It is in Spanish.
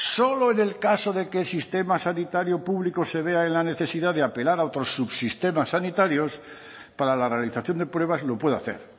solo en el caso de que el sistema sanitario público se vea en la necesidad de apelar a otros subsistemas sanitarios para la realización de pruebas lo puede hacer